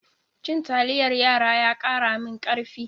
Cin taliyar yara ya kara min karfi.